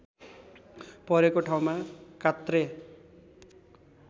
परेको ठाउँमा कात्रे